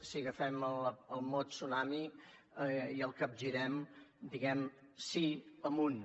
si agafem el mot tsunami i el capgirem diem sí amunt